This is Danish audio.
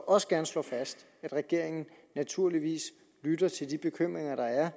også gerne slå fast at regeringen naturligvis lytter til de bekymringer der er